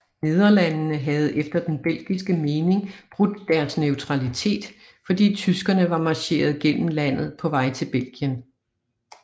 Nederlandene havde efter den belgiske mening brudt deres neutralitet fordi tyskerne var marcheret gennem landet på vej til Belgien